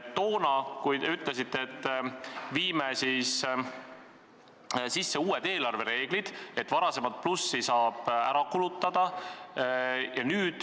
Toona te ütlesite, et kehtestame uued eelarvereeglid, et varasemat plussi saab ära kulutada.